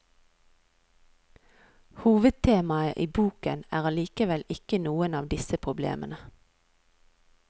Hovedtemaet i boken er allikevel ikke noen av disse problemene.